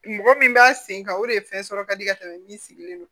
Mɔgɔ min b'a sen kan o de ye fɛn sɔrɔ kadi ka tɛmɛ min sigilen don